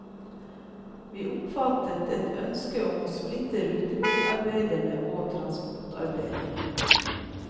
Vi oppfattet et ønske om å splitte rutebilarbeiderne og transportarbeiderne.